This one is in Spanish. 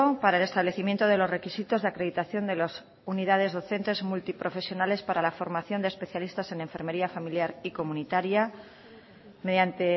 para el establecimiento de los requisitos de acreditación de las unidades docentes multiprofesionales para la formación de especialistas en enfermería familiar y comunitaria mediante